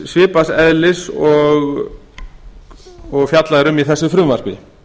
svipaðs eðlis og fjallað er um í þessu frumvarpi